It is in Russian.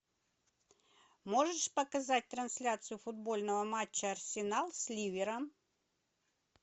можешь показать трансляцию футбольного матча арсенал с ливером